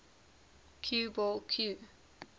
cue ball cue